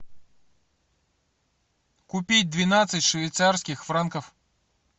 купить двенадцать швейцарских франков